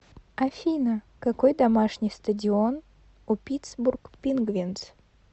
афина какой домашний стадион у питтсбург пингвинз